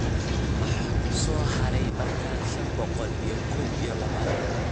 Maxaa soo haray markaad shan boqol iyo kow iyo labaatan u qaybiso saddex